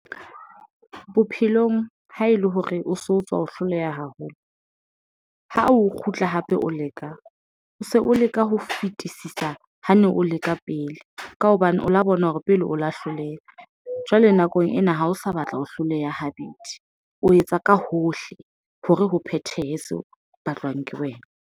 Bophelong ha ele hore o so tswa ho hloleha haholo ha o kgutla hape, o leka o se o leka ho fetisisa. Ha ne o leka pele ka hobane o la bona hore pele o lo hloleha. Jwale nakong ena ha o sa batla ho hloleha habedi, o etsa ka hohle hore ho phethehe batlwang ke wena.